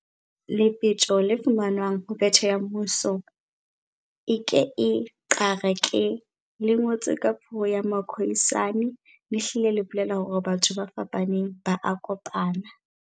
Lepetjo le fumanwang ho betjhe ya mmuso, "!ke e: /xarra //ke" le ngotsweng ka puo ya Ma-Khoisane, le hlile le bolela hore batho ba fapaneng ba a kopana.